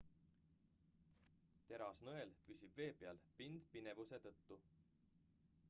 terasnõel püsib vee peal pindpinevuse tõttu